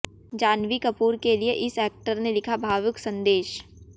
जाह्नवी कपूर के लिए इस एक्टर ने लिखा भावुक संदेश